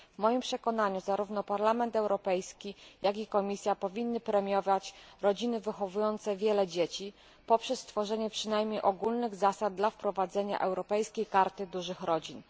W moim przekonaniu zarówno Parlament Europejski, jak i Komisja powinny premiować rodziny wychowujące wiele dzieci poprzez stworzenie przynajmniej ogólnych zasad dla wprowadzenia Europejskiej Karty Dużych Rodzin.